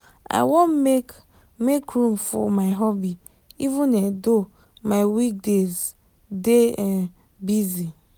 i wan make make room for my hobby even um though my week days dey um busy.